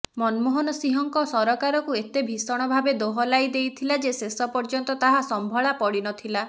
ମନମୋହନ ସିଂହଙ୍କ ସରକାରକୁ ଏତେ ଭୀଷଣ ଭାବେ ଦୋହଲାଇ ଦେଇଥିଲା ଯେ ଶେଷ ପର୍ଯ୍ୟନ୍ତ ତାହା ସମ୍ଭଳା ପଡ଼ିନଥିଲା